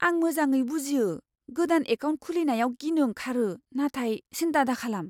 आं मोजाङै बुजियो। गोदान एकाउन्ट खुलिनायाव गिनो ओंखारो, नाथाय सिन्था दाखालाम!